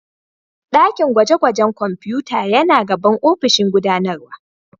Dakin gwaje-gwajen kwamfuta yana gaban ofishin gudanarwa